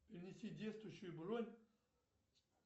перенеси действующую бронь